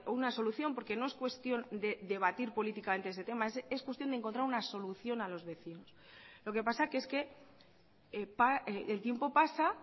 una solución porque no es cuestión de debatir políticamente este tema es cuestión de encontrar una solución a los vecinos lo que pasa que es que el tiempo pasa